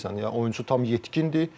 Yəni oyunçu tam yetkindir.